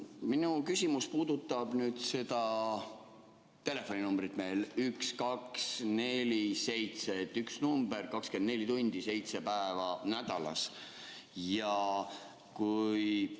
Minu küsimus puudutab telefoninumbrit 1247 – üks number 24 tundi, seitse päeva nädalas.